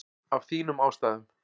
Af þínum ástæðum.